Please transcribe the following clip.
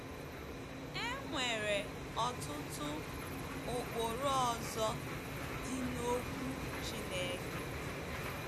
E nwere ọtụtụ ụkpụrụ ọzọ dị n’Okwu Chineke.